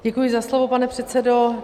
Děkuji za slovo, pane předsedo.